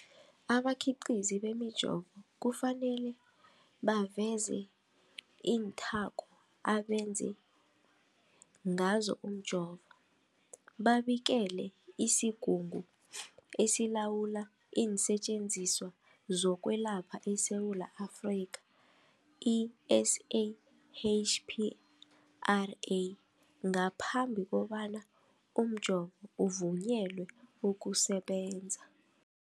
Abakhiqizi bemijovo kufanele baveze iinthako abenze ngazo umjovo, babikele isiGungu esiLawula iinSetjenziswa zokweLapha eSewula Afrika, i-SAHPRA, ngaphambi kobana umjovo uvunyelwe ukusebenza.